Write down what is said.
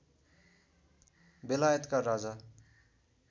बेलायतका राजा